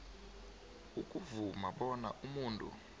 ukuvuma bona umuntu